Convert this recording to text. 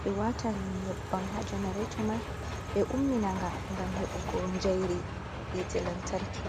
be watan nyebbam ha janarato mai ɓe umminaga ngam he bugo njairi yite lantarki.